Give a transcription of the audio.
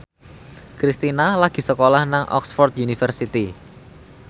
Kristina lagi sekolah nang Oxford university